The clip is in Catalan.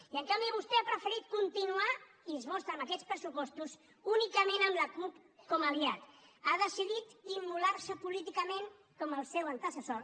i en canvi vostè ha preferit continuar i es mostra amb aquests pressupostos únicament amb la cup com a aliat ha decidit immolar se políticament com el seu antecessor